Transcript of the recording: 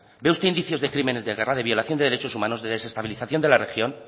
ve usted indicios de crímenes de guerra de violación de derechos humanos de desestabilización de la región